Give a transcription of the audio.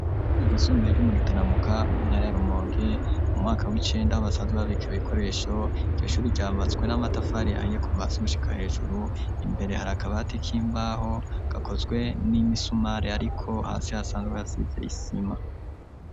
Kw'ishure ry'isumbuye Ryo mugitaramuka mu ntare ya rumonge, mu mwaka w'icenda ho basanzwe babika ibikoresho, iryo Shure ryubakishije n'amatafari aye kuva Hasi gushika hejuru imbere hari akabati k'imbaho gakozwe n'imisumari ariko hasi hasanzwe hasize isima.